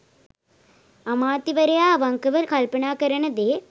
අමාත්‍යවරයා අවංකව කල්පනා කරන දේ